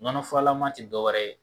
nɔnɔ furalama tɛ dɔwɛrɛ ye